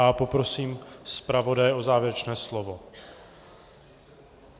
A poprosím zpravodaje o závěrečné slovo.